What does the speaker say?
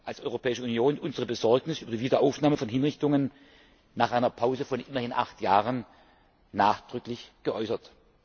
wir als Europäische Union unsere Besorgnis über die Wiederaufnahme von Hinrichtungen nach einer Pause von immerhin acht Jahren nachdrücklich geäußert.